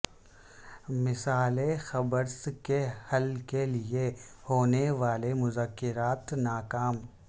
مسئلہ قبرص کے حل کے لیے ہونے والے مذاکرات ناکام